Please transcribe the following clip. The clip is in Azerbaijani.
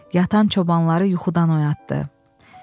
Yatan çobanları yuxudan oyatdı.